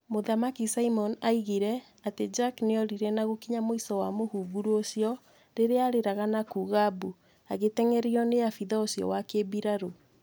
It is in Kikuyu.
Mũthamaki Simon oigire atĩ Jack nĩorire na gũkinya mũico wa mũhunguru ũcio rĩrĩa aarĩraga na kuuga mbu, agĩteng'erio nĩ abithaa ucio wa kĩmbirarũ.